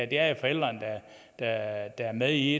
det er forældrene der er med i